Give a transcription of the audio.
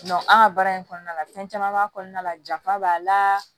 an ka baara in kɔnɔna la fɛn caman b'a kɔnɔna la jafa b'a la